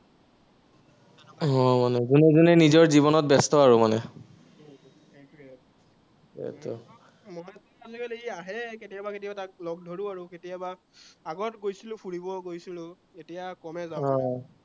হম মানে জোনে জোনে নিজৰ জীৱনত ব্যস্ত আৰু মানে উম